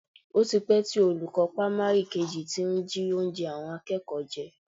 O ti pẹ́ tí olùkọ́ pámárì kejì ti ń jí oúnjẹ àwọn akẹ́kọ̀ọ́ jẹ